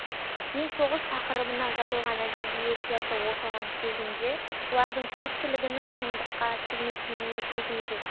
мен соғыс тақырыбына жазылған әдебиеттерді оқыған кезімде олардың көпшілігінің шындыққа келмейтініне көзім жетті